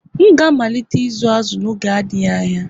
M ga-amalite ịzụ azu n'oge adịghị anya